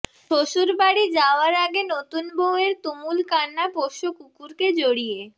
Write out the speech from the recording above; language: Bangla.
শ্বশুরবাড়ি যাওয়ার আগে নতুন বউয়ের তুমুল কান্না পোষ্য কুকুরকে জড়িয়ে